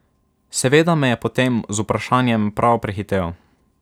Seveda me je potem z vprašanjem prav prehitel.